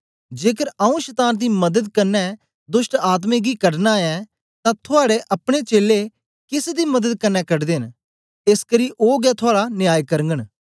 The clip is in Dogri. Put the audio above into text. जेकर आऊँ शतान दी मदत कन्ने दोष्टआत्मायें गी कढना ऐं तां थुआड़े अपने चेलें केस दी मदत कन्ने कढदे न एसकरी ओ गै थुआड़ा न्याय करघंन